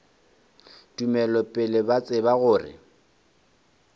tumelo pele ba tseba gore